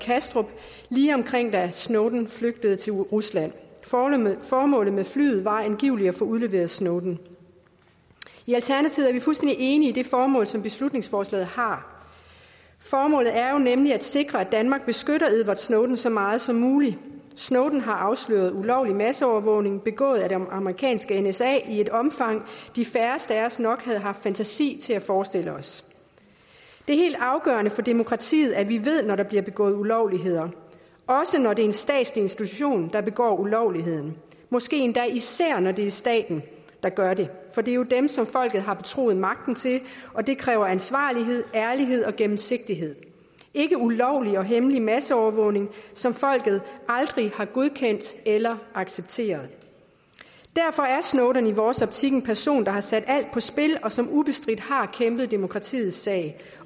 i kastrup lige omkring da snowden flygtede til rusland formålet med flyet var angiveligt at få udleveret snowden i alternativet er vi fuldstændig enige i det formål som beslutningsforslaget har formålet er jo nemlig at sikre at danmark beskytter edward snowden så meget som muligt snowden har afsløret ulovlig masseovervågning begået af det amerikanske nsa i et omfang de færreste af os nok havde haft fantasi til at forestille os det er helt afgørende for demokratiet at vi ved det når der bliver begået ulovligheder også når det er en statslig institution der begår ulovligheden måske endda især når det er staten der gør det for det er jo dem som folket har betroet magten og det kræver ansvarlighed ærlighed og gennemsigtighed ikke ulovlig og hemmelig masseovervågning som folket aldrig har godkendt eller accepteret derfor er snowden i vores optik en person der har sat alt på spil og som ubestridt har kæmpet demokratiets sag